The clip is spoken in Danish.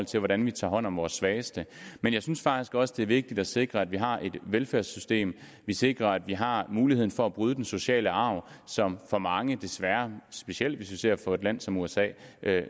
til hvordan man tager hånd om de svageste men jeg synes faktisk også det er vigtigt at vi sikrer at vi har en velfærdssystem at vi sikrer at vi har mulighed for at bryde den sociale arv som for mange desværre specielt hvis vi ser på et land som usa